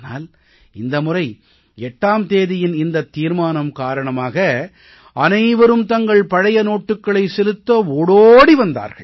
ஆனால் இந்த முறை 8ஆம் தேதியின் இந்த தீர்மானம் காரணமாக அனைவரும் தங்கள் பழைய நோட்டுக்களை செலுத்த ஓடோடி வந்தார்கள்